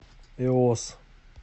эос